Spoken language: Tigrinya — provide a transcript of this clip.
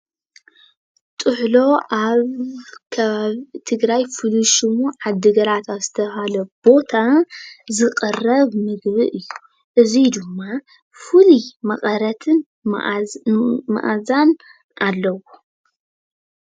ጥሕሎ ኣብ ከባቢ ትግራይ ፍሉይ ሽሙ ዓዲ ግራት ኣብ ዝተባህለ ቦታ ዝቕረብ ምግቢ እዩ፡፡ እዚ ድማ ፍሉይ መቐረትን መዓዛን ኣለዎ፡፡